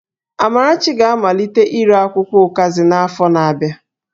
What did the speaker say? Amarachi ga-amalite ire akwụkwọ ụkazi n'afọ na-abịa